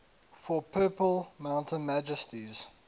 for purple mountain majesties